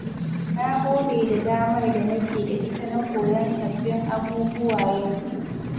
Na gode da damar da nake da ita na koyon sabbin abubuwa yau.